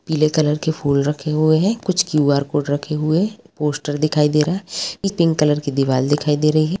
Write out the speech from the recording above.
पीले कलर के फूल रखे हुए हैं कुछ क्यूआर कोड रखे हुए हैं पोस्टर दिखाई दे रहे हैं पिंक कलर की दीवार दिखाई दे रही है।